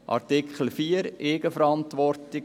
Artikel 4, Eigenverantwortung: